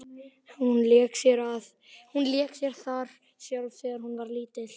Hún lék sér þar sjálf þegar hún var lítil.